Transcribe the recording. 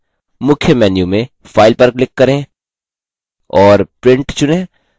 मुख्य menu में file पर click करें और print चुनें